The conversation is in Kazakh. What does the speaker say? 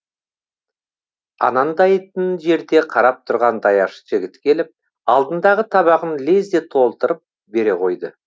анандайтын жерде қарап тұрған даяшы жігіт келіп алдындағы табағын лезде толтырып бере қойды